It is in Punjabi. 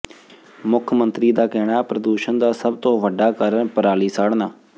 ਮੁੱਖ ਮੰਤਰੀ ਦਾ ਕਹਿਣਾ ਪ੍ਰਦੂਸ਼ਨ ਦਾ ਸਭ ਤੋਂ ਵੱਡਾ ਕਾਰਨ ਪਰਾਲੀ ਸਾੜਨਾ